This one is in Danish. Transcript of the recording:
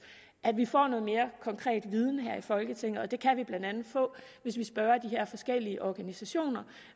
at vi får noget mere konkret viden her i folketinget det kan vi blandt andet få hvis vi spørger de her forskellige organisationer og